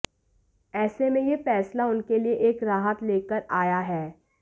ऐसे में यह फैसला उनके लिए एक राहत लेकर आया है